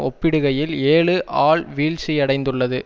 ஒப்பிடுகையில் ஏழு ஆல் வீழ்ச்சியடைந்துள்ளது